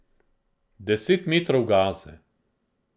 Deset metrov gaze.